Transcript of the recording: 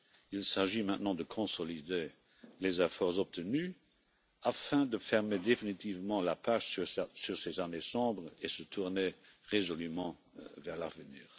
Il s'agit maintenant de consolider les efforts obtenus afin de fermer définitivement la page sur ces années sombres et se tourner résolument vers l'avenir.